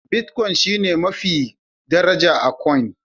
Bitcoin shine coin mafi daraja a coins